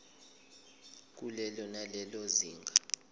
kulelo nalelo zinga